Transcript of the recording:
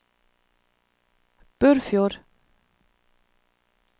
Burfjord